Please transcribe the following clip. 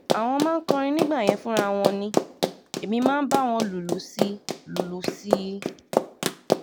àwọn máa ń kọrin nígbà yẹn fúnra wọn ni èmi máa bá wọn lùlù sí lùlù sí i